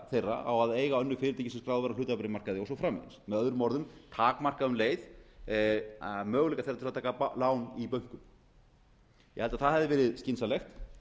þeirra á að eiga önnur fyrirtæki sem skráð eru á hlutabréfamarkaði og svo framvegis með öðrum orðum takmarka um leið möguleika þeirra til að taka lán í bönkum ég held að það hefði verið skynsamlegt